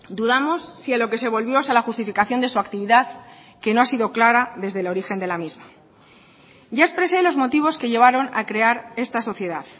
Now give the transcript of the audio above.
dudamos si a lo que se volvió es a la justificación de su actividad que no ha sido clara desde el origen de la misma ya expresé los motivos que llevaron a crear esta sociedad